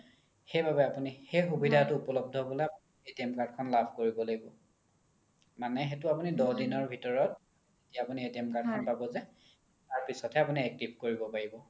সেইবাবে আপোনি সেই সুবিধাতো উপলব্ধি হ্'বলৈ card খন লাভ কৰিব লাগিব মানে আপোনি সেইতো দহ দিনৰ ভিতৰত যেতিয়া আপোনি card খন পাব যে তাৰ পিছত হে আপোনি active কৰিব পাৰিব